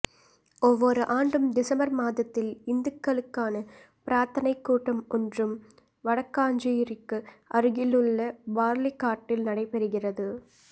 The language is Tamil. ஒவ்வோர் ஆண்டும் டிசம்பர் மாதத்தில் இந்துக்களுக்கான பிரார்த்தனைக் கூட்டம் ஒன்றும் வடக்காஞ்சேரிக்கு அருகிலுள்ள பார்லிக்காட்டில் நடைபெறுகிறது